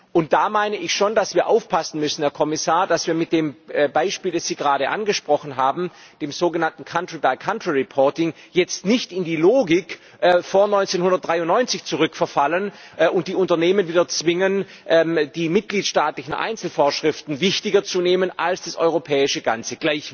Und da meine ich schon, dass wir aufpassen müssen, Herr Kommissar, dass wir mit dem Beispiel, das Sie gerade angesprochen haben, dem sogenannten country by country reporting jetzt nicht in die Logik von vor 1993 zurückverfallen und die Unternehmen wieder zwingen, die mitgliedstaatlichen Einzelvorschriften wichtiger zu nehmen als das europäische Ganze.